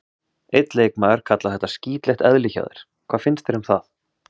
Einn leikmaður kallaði þetta skítlegt eðli hjá þér, hvað finnst þér um það?